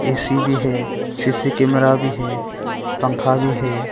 AC भी है CC camera भी है पंखा भी है।